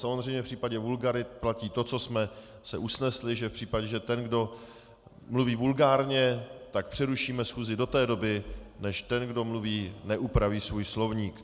Samozřejmě v případě vulgarit platí to, co jsme se usnesli, že v případě, že ten, kdo mluví vulgárně, tak přerušíme schůzi do té doby, než ten, kdo mluví, neupraví svůj slovník.